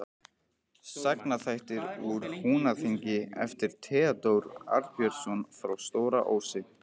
Sagnaþættir úr Húnaþingi eftir Theódór Arnbjörnsson frá Stóra-Ósi